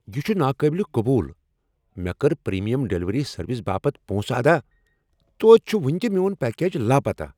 یہ چھ ناقابل قبول۔ مےٚ کٔر پریمیم ڈلیوری سروس باپت پونسہٕ ادا، توتہِ چھُ وُنہِ تہِ میون پیکج لاپتاہ ۔